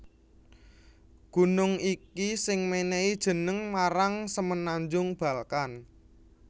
Gunung iki sing mènèhi jeneng marang Semenanjung Balkan